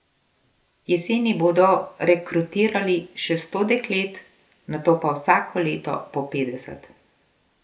Jeseni bodo rekrutirali še sto deklet, nato pa vsako leto po petdeset.